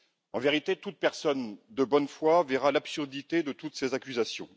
En vérité, toute personne de bonne foi verra l'absurdité de toutes ces accusations.